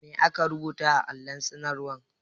Ma aka rubuta a allon sanarwar?